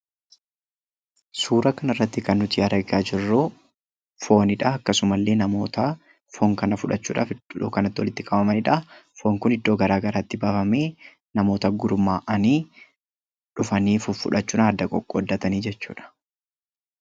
Suura kana irratti kan nuti argaa jirru foonidha. akkasuma illee namoota foon kan fudhachuudhaaf iddoo kanatti walitti qabamanidha. Foon kunis iddoo garaa garaatti bafamee namoota gurmaa'anii dhufanii fuffudhachuudhaan adda qoqqooddatanii jechuudha.